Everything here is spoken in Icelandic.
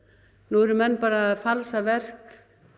nú eru menn að falsa verk